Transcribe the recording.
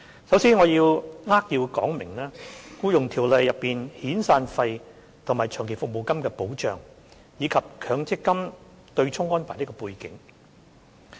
首先，讓我扼要說明《僱傭條例》中遣散費和長期服務金的保障，以及強制性公積金對沖安排的背景。